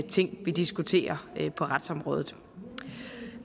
ting vi diskuterer på retsområdet